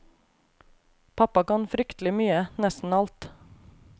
Pappa kan fryktelig mye, nesten alt.